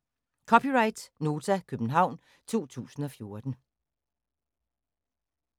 (c) Nota, København 2014